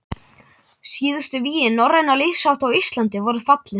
Síðustu vígi norrænna lífshátta á Íslandi voru fallin.